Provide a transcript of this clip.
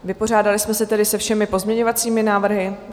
Vypořádali jsme se tedy se všemi pozměňovacími návrhy.